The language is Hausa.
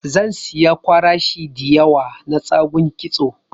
Zan siya kwarashi diyawa na tsagun kitso